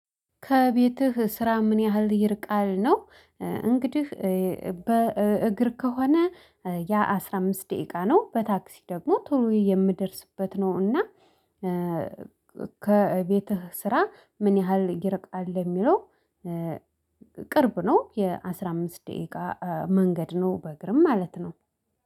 ከቤትህ ስራ ምን ያህል ይርቃል ነው? እንግዲህ በእግር ከሆነ ያ አስራ አምስት ደቂቃ ነው በታክሲ ደግሞ ቶሎ የምደርስበት ነው። እና ከቤትህ ስራ ምን ያህል ይርቃል? የሚለው ቅርብ ነው የአሥራ አምስት ደቂቃ መንገድ ነው። በእግርም ማለት ነው